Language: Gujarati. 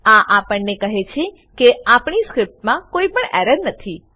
આ આપણને કહે છે કે આપણી સ્ક્રીપ્ટમા કોઈ પણ એરર નથી